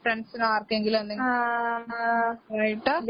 ഫ്രണ്ട്സിനോ ആർക്കെങ്കിലും എന്തെങ്കിലും പോയിട്ട്